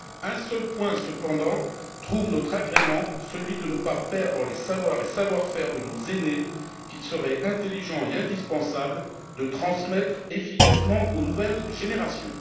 Un seul point cependant trouve notre agrément, celui de ne pas perdre les savoirs et savoir faire de nos aînés, qu'il serait intelligent et indispensable de transmettre efficacement aux nouvelles générations.